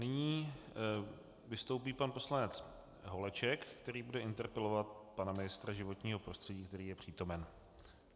Nyní vystoupí pan poslanec Holeček, který bude interpelovat pana ministra životního prostředí, který je přítomen.